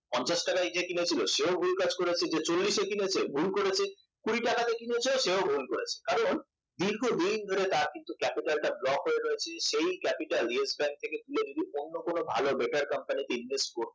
পঞ্চাশ টাকায় যে কিনেছিল সেও ভুল কাজ করেছে যে চল্লিশ এ কিনেছে ভুল করেছে কুড়ি টাকাতে কিনেছে সেও ভুল করেছে কারণ দীর্ঘদিন ধরে তার কিন্তু capital টা block হয়ে রয়েছে সেই capitalYes Bank থেকে তুলে যদি অন্য কোন ভালো better company তে invest করতো